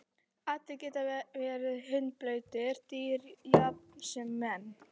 Allir geta verið hundblautir, dýr jafnt sem menn.